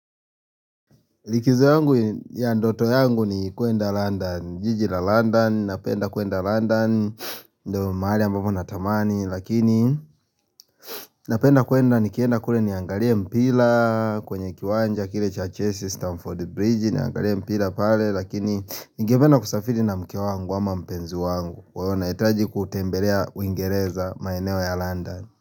Likizo yangu ya ndoto yangu ni kuenda London, jiji la London, napenda kuenda London, ndo mahali ambapo natamani, lakini napenda kuenda nikienda kule niangalie mpira, kwenye kiwanja kile cha Chelsea, Stamford Bridge, niangalie mpira pale, lakini ningependa kusafiri na mke wangu ama mpenzi wangu, kwa hiyo nahitaji kutembelea uingereza maeneo ya London.